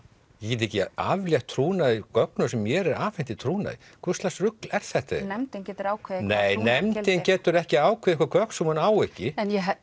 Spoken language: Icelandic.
ég get ekki aflétt trúnaði gögnum sem mér er afhent í trúnaði hvurslags rugl er þetta nefndin getur ákveðið nei nefndin getur ekki ákveðið einhver gögn sem hún á ekki